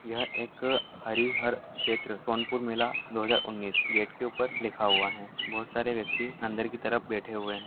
यह एक हरिहर छेत्र सोनपुर मेला दो हज़ार उन्नीस गेट के ऊपर लिखा हुआ है बहुत सारे व्यक्ति अंदर के तरफ बैठे हुए हैं।